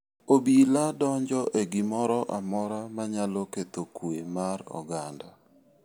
Obila donjo e gimoro amora manyalo ketho kuwe mar oganda.